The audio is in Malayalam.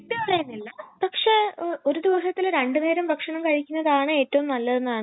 ആ അപ്പോ ആം അമ്മ അപ്പൊ എല്ലാർക്കും ഒരേ ഫുഡൊക്കെ മതി അല്ലെ ഉണ്ടാക്കാൻ